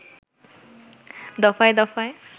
দফায় দফায়